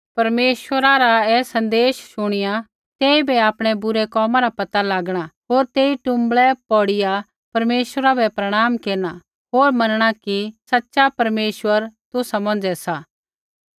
परमेश्वरा रा ऐ सन्देश शुणिया तेइबै आपणै बुरै कोमा रा पता लागणा होर तेई टुँबड़ै पौड़िया परमेश्वरा बै प्रणाम केरना होर मनणा कि सच़ै परमेश्वर तुसा मौंझ़ै सा